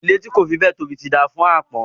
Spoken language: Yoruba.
Ilé tí kò fi béẹ̀ tóbi ti dáa fún àpọ́n